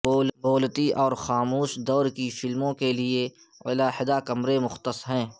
بولتی اور خاموش دور کی فلموں کے لیے علیحدہ کمرے مختص ہیں